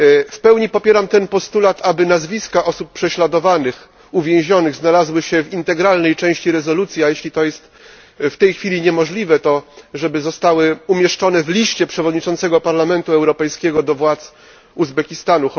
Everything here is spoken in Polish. W pełni popieram postulat, aby nazwiska osób prześladowanych, uwięzionych znalazły się w integralnej części rezolucji, a jeśli jest to w tej chwili niemożliwe, to żeby zostały umieszczone w liście przewodniczącego Parlamentu Europejskiego do władz Uzbekistanu.